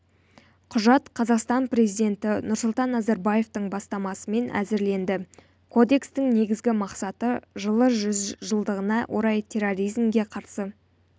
құжат қазақстан президенті нұрсұлтан назарбаевтың бастамасымен әзірленді кодекстің негізгі мақсаты жылы жүз жылдығына орай терроризмге қарсы